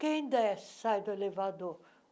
Quem desce sai do elevador?